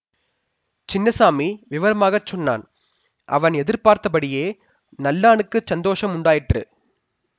சின்னசாமி விவரமாக சொன்னான் அவன் எதிர் பார்த்தபடியே நல்லானுக்குச் சந்தோஷம் உண்டாயிற்று